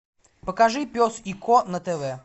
покажи пес и ко на тв